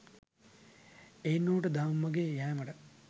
එයින් ඔහුට දහම් මඟෙහි යෑමට